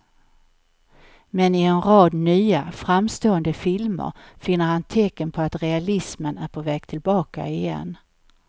Men i en rad nya, framstående filmer finner han tecken på att realismen är på väg tillbaka igen.